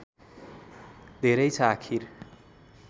धेरै छ आखिर